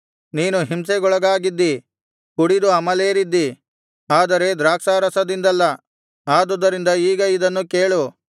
ನೀನು ಹಿಂಸೆಗೊಳಗಾಗಿದ್ದಿ ಕುಡಿದು ಅಮಲೇರಿದ್ದಿ ಆದರೆ ದ್ರಾಕ್ಷಾರಸದಿಂದಲ್ಲ ಆದುದರಿಂದ ಈಗ ಇದನ್ನು ಕೇಳು